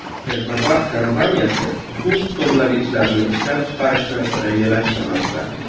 Texnopark kompaniyasi suv hisoblagichlarini ishlab chiqarishni rejalashtirmoqda.